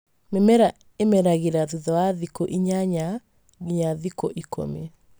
Mĩmera ĩmeragĩra thutha wa thikũinyanya nginyagia ikũmi